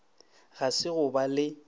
ga se go ba le